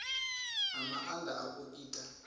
na maanda a u ita